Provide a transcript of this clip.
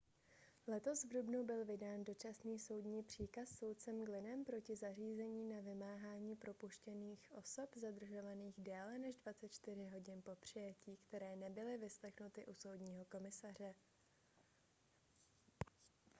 letos v dubnu byl vydán dočasný soudní příkaz soudcem glynnem proti zařízení na vymáhání propuštění osob zadržovaných déle než 24 hodin po přijetí které nebyly vyslechnuty u soudního komisaře